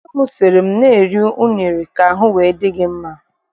Nne m sị m na-eri unere ka ahụ wee dị m mma.